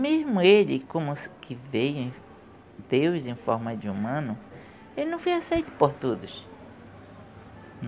Mesmo ele como que veio Deus em forma de humano, ele não foi aceito por todos.